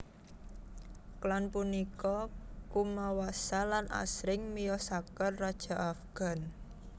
Klan punika kumawasa lan asring miyosaken raja Afgan